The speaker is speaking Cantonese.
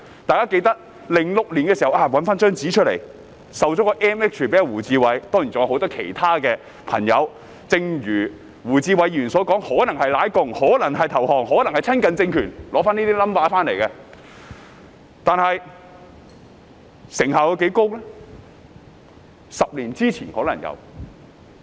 大家記得，政府在2006年頒授 MH 予胡志偉議員，正如胡志偉議員所說，可能是"舔共"、可能是投降、可能是親近政權，才取得這些勳銜，但是成效有多高呢？